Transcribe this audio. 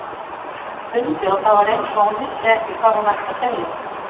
Hún stundi og það var eins og hún vissi ekki hvað hún ætti að segja.